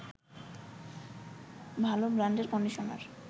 ভালো ব্রান্ডের কন্ডিশনার